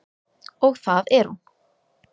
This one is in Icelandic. Og það er hún.